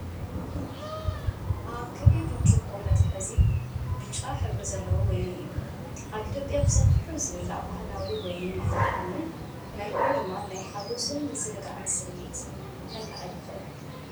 ኣብ ክቢ ብርጭቆ መትሓዚ ብጫ ሕብሪ ዘለዎ ወይኒ እዩ። ኣብ ኢትዮጵያ ብሰፊሑ ዝብላዕ ባህላዊ ወይኒ መዓር ኮይኑ፡ መልክዑ ድማ ናይ ሓጎስን ምዝንጋዕን ስምዒት ከለዓዕል ይኽእል።